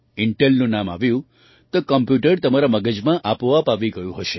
ઇન્ટેલનું નામ આવ્યું તો કમ્પ્યૂટર તમારા મગજમાં આપોઆપ આવી ગયું હશે